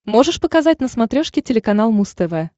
можешь показать на смотрешке телеканал муз тв